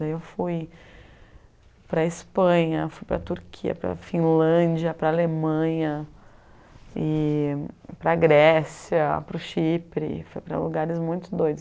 Daí eu fui para a Espanha, fui para a Turquia, para a Finlândia, para a Alemanha, para a Grécia, para o Chipre, fui para lugares muito doidos.